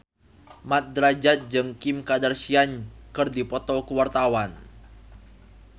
Mat Drajat jeung Kim Kardashian keur dipoto ku wartawan